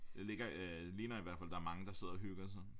Der ligger øh ligner i hvert fald der er mange der sidder og hygger sig